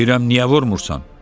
Deyirəm niyə vurmursan?